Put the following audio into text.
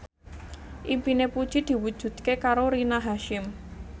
impine Puji diwujudke karo Rina Hasyim